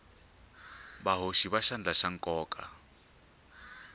vahoxi va xandla va nkoka